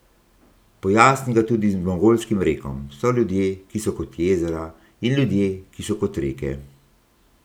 Pojasni ga tudi z mongolskim rekom: "So ljudje, ki so kot jezera, in ljudje, ki so kot reke.